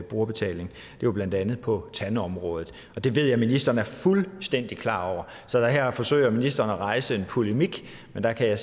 brugerbetaling det var blandt andet på tandområdet og det ved jeg at ministeren er fuldstændig klar over så her forsøger ministeren at rejse en polemik men der kan